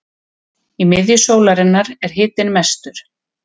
Í miðju sólarinnar er hitinn mestur.